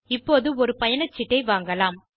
இப்போது ஒரு பயணச்சீட்டை வாங்கலாம்